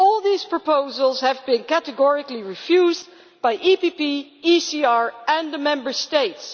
But all these proposals have been categorically refused by the PPE, the ECR and the Member States.